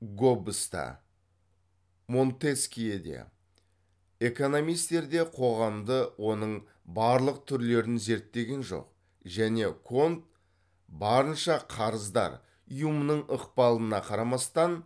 гоббс та монтескье де экономистер де қоғамды оның барлық түрлерін зерттеген жоқ және конт барынша қарыздар юмның ықпалына қарамастан